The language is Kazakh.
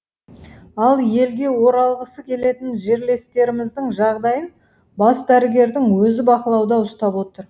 ал елге оралғысы келетін жерлестеріміздің жағдайын бас дәрігердің өзі бақылауда ұстап отыр